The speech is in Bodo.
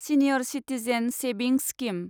senior citizen savings scheme